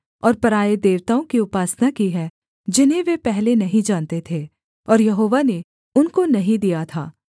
और पराए देवताओं की उपासना की है जिन्हें वे पहले नहीं जानते थे और यहोवा ने उनको नहीं दिया था